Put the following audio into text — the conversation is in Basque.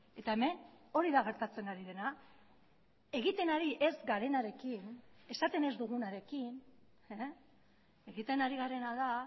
eta hemen hori da gertatzen ari dena egiten ari ez garenarekin esaten ez dugunarekin egiten ari garena da